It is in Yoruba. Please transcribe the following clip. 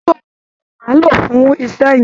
Èso síìsì ni a ń lò fún iṣẹ́ yín